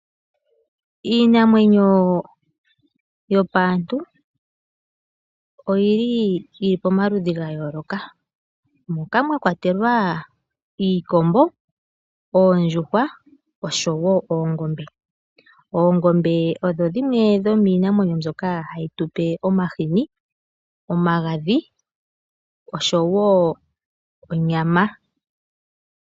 Iinamwenyo yopaantu oyili pamaludhi gayooloka, moka mwa kwatelwa iikombo, oondjuhwa, osho wo oongombe. Oongombe odho dhimwe dhomiinamwenyo mbyoka hayi tupe omahini, omagadhi, osho wo onyama.